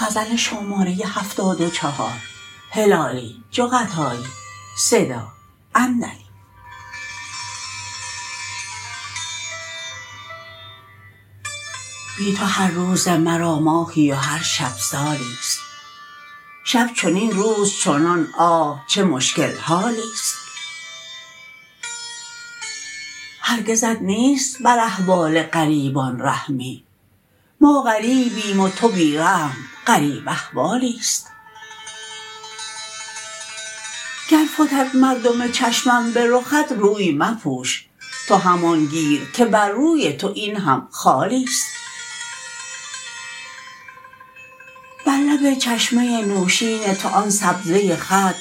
بی تو هر روز مرا ماهی و هر شب سالیست شب چنین روز چنان آه چه مشکل حالیست هرگزت نیست بر احوال غریبان رحمی ما غریبیم و تو بی رحم غریب احوالیست گر فتد مردم چشمم برخت روی مپوش تو همان گیر که بر روی تو این هم خالیست بر لب چشمه نوشین تو آن سبزه خط